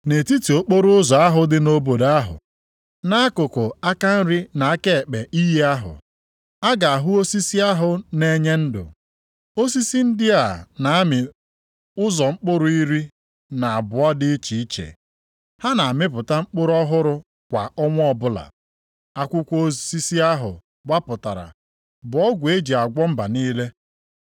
nʼetiti okporoụzọ ahụ dị nʼobodo ahụ. Nʼakụkụ aka nri na aka ekpe iyi ahụ, a ga-ahụ osisi ahụ na-enye ndụ. Osisi ndị a na-amị ụzọ mkpụrụ iri na abụọ dị iche iche. Ha na-amịpụta mkpụrụ ọhụrụ kwa ọnwa ọbụla. Akwụkwọ osisi ahụ wapụtara bụ ọgwụ e ji agwọ mba niile.